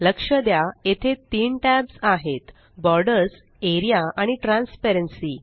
लक्ष द्या येथे 3 टॅब्स आहेत बॉर्डर्स एआरईए आणि ट्रान्सपेरन्सी